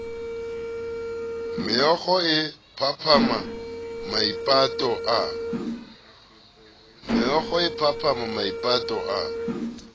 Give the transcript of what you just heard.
mookgo a phaphama maipato a